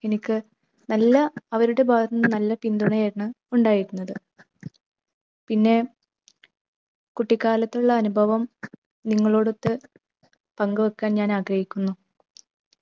എനിക്ക് നല്ല അവരുടെ ഭാഗത്തു നിന്ന് നല്ല പിന്തുണയായിരുന്നു ഉണ്ടായിരുന്നത്. പിന്നെ കുട്ടിക്കാലത്തുള്ള അനുഭവം നിങ്ങളോടുത്ത് പങ്കുവെക്കാൻ ഞാൻ ആഗ്രഹിക്കുന്നു.